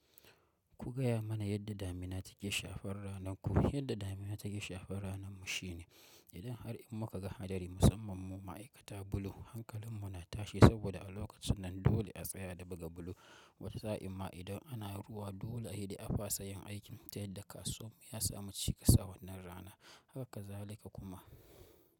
Ku gaya mana yadda damina take shafar rananku? Yadda damina take shafar ranar mu shine idan har in muka ga hadari, musamman mu ma'aikatan bulo hankalin mu na tashi saboda a lokacin nan dole a tsaya da buga bulo, wata sa'in ma idan ana ruwa dole a yi da afasa yin aikin ta yadda kasuwan mu ya samu cikas awannan rana haka kazalika kuma.